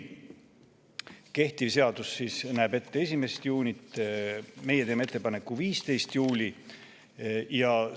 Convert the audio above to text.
Kehtiv seadus näeb ette 1. juunit, meie teeme ettepaneku, et see oleks 15. juuli.